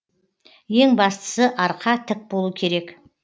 ең бастысы арқа тік болу керек